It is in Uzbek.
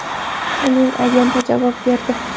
Uning agenti javob berdi.